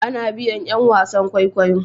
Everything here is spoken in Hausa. A na biyan yan wasan kwaikwayo